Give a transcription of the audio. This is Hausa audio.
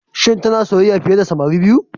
Shin tana soyayya fiye da samari biyu?